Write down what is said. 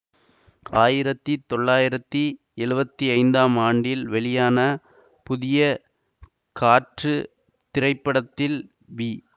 ஆயிரத்தி தொள்ளாயிரத்தி எழுவத்தி ஐந்தாம் ஆண்டில் வெளியான புதிய காற்று திரைப்படத்தில் வி